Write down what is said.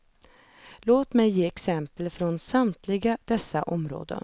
Låt mig ge exempel från samtliga dessa områden.